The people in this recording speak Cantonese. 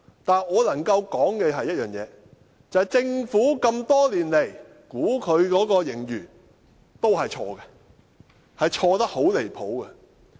但我能夠指出的一點是政府多年來的盈餘估算也是錯誤的，而且錯得很離譜。